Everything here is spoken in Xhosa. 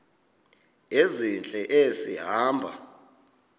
ezintle esi hamba